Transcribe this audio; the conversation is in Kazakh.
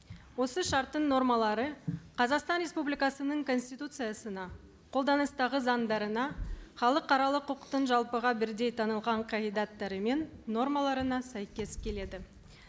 осы шарттың нормалары қазақстан республикасының конституциясына қолданыстағы заңдарына халықаралық құқықтың жалпыға бірдей танылған қағидаттары мен нормаларына сәйкес келеді